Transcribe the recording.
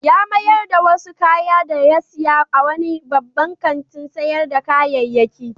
Ya mayar da wasu kaya da ya saya a wani babban kantin sayar da kayayyaki.